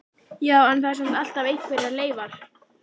Já, en það eru samt alltaf einhverjar leifar.